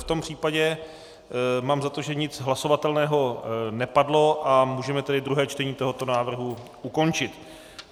V tom případě mám za to, že nic hlasovatelného nepadlo, a můžeme tedy druhé čtení tohoto návrhu ukončit.